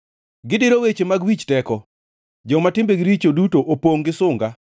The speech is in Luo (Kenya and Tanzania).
Gidiro weche mag wich teko; joma timbegi richo duto opongʼ gi sunga.